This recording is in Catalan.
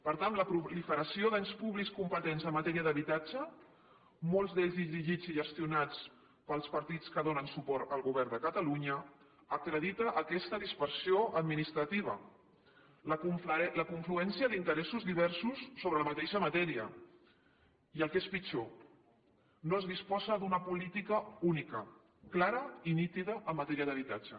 per tant la proliferació d’ens públics competents en matèria d’habitatge molts d’ells dirigits i gestionats pels partits que donen suport al govern de catalunya acredita aquesta dispersió administrativa la confluència d’interessos diversos sobre la mateixa matèria i el que és pitjor no es disposa d’una política única clara i nítida en matèria d’habitatge